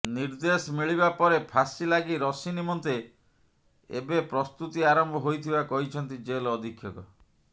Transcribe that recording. ନିର୍ଦ୍ଦେଶ ମିଳିବା ପରେ ଫାଶୀ ଲାଗି ରଶି ନିମନ୍ତେ ଏବେ ପ୍ରସ୍ତୁତି ଆରମ୍ଭ ହୋଇଥିବା କହିଛନ୍ତି ଜେଲ ଅଧିକ୍ଷକ